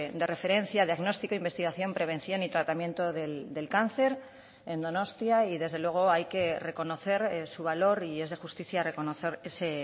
de referencia diagnóstico investigación prevención y tratamiento del cáncer en donostia y desde luego hay que reconocer su valor y es de justicia reconocer ese